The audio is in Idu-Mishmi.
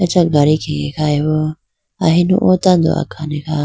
acha gadi khege khayi bo ahinu o tando akhane kha.